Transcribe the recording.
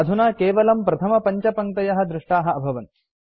अधुना केवलं प्रथमपञ्चपङ्क्तयः दृष्टाः अभवन्